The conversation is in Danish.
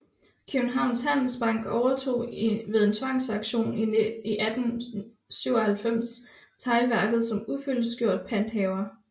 Kjøbenhavns Handelsbank ovetog ved en tvangsauktion i 1897 teglværket som ufyldestgjort panthaver